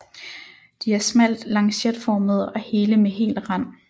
De er smalt lancetformede og hele med hel rand